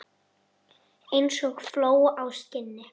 Eins og fló á skinni.